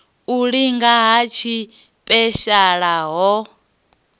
u linga ha tshipeshala ha